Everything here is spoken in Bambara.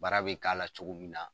Baara be k'a la cogo min na